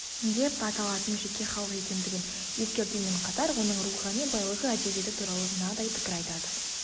деп аталатын жеке халық екендігін ескертумен қатар оның рухани байлығы әдебиеті туралы мынандай пікір айтады